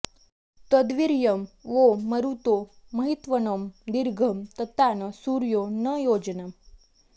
तद्वीर्यं वो मरुतो महित्वनं दीर्घं ततान सूर्यो न योजनम्